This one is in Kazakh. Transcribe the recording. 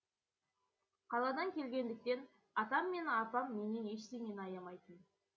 қаладан келгендіктен атам мен апам менен ештеңені аямайтын